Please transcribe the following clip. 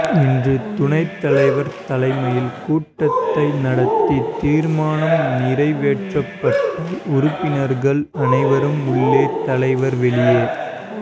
இன்று துணைத் தலைவர் தலைமையில் கூட்டத்தை நடத்தி தீர்மானம் நிறைவேற்றப்பட்டால் உறுப்பினர்கள் அனைவரும் உள்ளே தலைவர் வெளியே